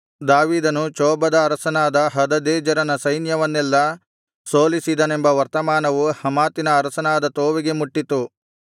ದಾವೀದನು ಚೋಬದ ಅರಸನಾದ ಹದದೆಜರನ ಸೈನ್ಯವನ್ನೆಲ್ಲಾ ಸೋಲಿಸಿದನೆಂಬ ವರ್ತಮಾನವು ಹಮಾತಿನ ಅರಸನಾದ ತೋವಿಗೆ ಮುಟ್ಟಿತು